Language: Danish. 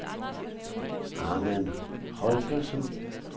Ahmad Holgersen